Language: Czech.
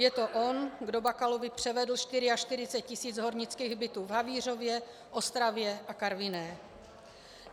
Je to on, kdo Bakalovi převedl 44 tisíc hornických bytů v Havířově, Ostravě a Karviné.